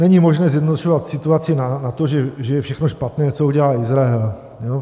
Není možné zjednodušovat situaci na to, že je všechno špatné, co udělá Izrael.